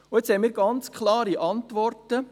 Und jetzt haben wir ganz klare Antworten: